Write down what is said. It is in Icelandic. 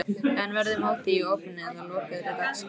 En verður mótið í opinni eða lokaðri dagskrá?